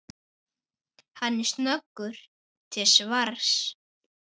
Hann er snöggur til svars.